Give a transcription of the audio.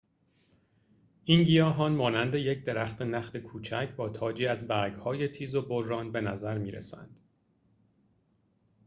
این گیاهان مانند یک درخت نخل کوچک با تاجی از برگهای تیز وبران به نظر می رسند